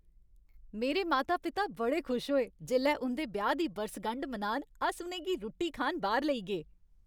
मेरे माता पिता बड़े खुश होए जेल्लै उं'दे ब्याह् दी बरसगंढ मनान अस उ'नें गी रुट्टी खान बाह्र लेई गे।